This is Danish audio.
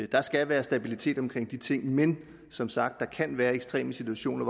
der skal være stabilitet omkring de ting men som sagt kan der være ekstreme situationer